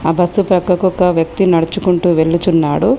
Bus ప్రక్కకు ఒక వ్యక్తి నడుచుకుంటూ వెళ్ళుచున్నాడు.